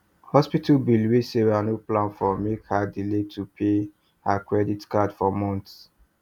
hospital bill wey sarah no plan for make her delay to pay her credit card for months